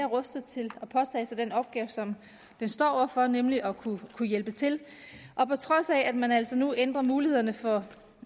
rustet til at påtage sig den opgave som den står over for nemlig at kunne hjælpe til og på trods af at man altså nu ændrer mulighederne for